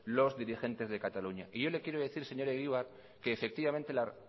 los dirigentes de cataluña y yo le quiero decir señor egibar que efectivamente la